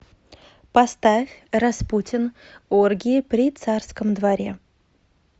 поставь распутин оргии при царском дворе